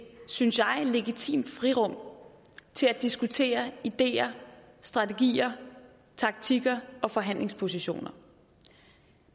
synes jeg legitimt frirum til at diskutere ideer strategier taktikker og forhandlingspositioner